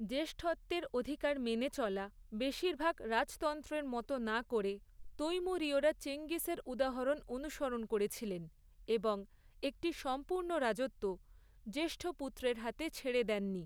জ্যেষ্ঠত্বের অধিকার মেনে চলা, বেশিরভাগ রাজতন্ত্রের মতো না করে, তৈমুরীয়রা চেঙ্গিসের উদাহরণ অনুসরণ করেছিলেন, এবং একটি সম্পূর্ণ রাজত্ব, জ্যেষ্ঠপুত্রের হাতে ছেড়ে দেননি।